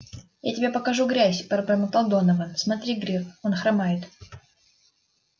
я тебе покажу грязь пробормотал донован смотри грег он хромает